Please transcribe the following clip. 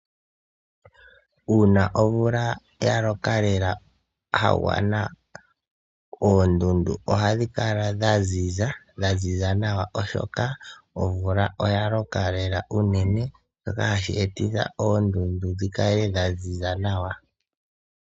Uuna omvula ya loka lela ya gwana, oondundu ohadhi kala dha ziza nawa oshoka omvula oya loka lela unene, shoka hashi etitha oondundu dhi kale dha ziza nawa.